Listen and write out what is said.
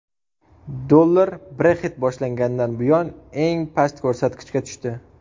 Dollar Brexit boshlangandan buyon eng past ko‘rsatkichga tushdi.